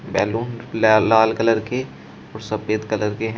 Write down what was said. Balloon ल लाल colour के व सफेद कलर के हैं।